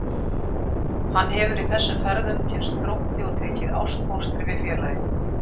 Hann hefur í þessum ferðum kynnst Þrótti og tekið ástfóstri við félagið.